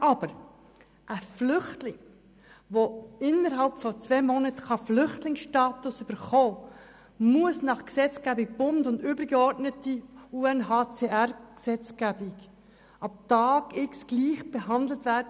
Aber ein Asylsuchender kann innerhalb von zwei Monaten den Flüchtlingsstatus erhalten, und dann muss er nach der Gesetzgebung des Bundes und der übergeordneten Gesetzgebung des UNOHochkommissariats für Flüchtlinge (UNHCR) ab Tag X gleich behandelt werden.